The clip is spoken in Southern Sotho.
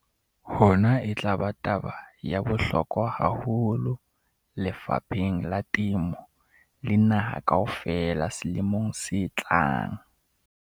Hona e tla ba taba ya bohlokwa haholo lefapheng la temo le naha kaofela selemong se tlang.